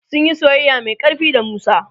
sunyi soyayya Mai ƙarfi da musa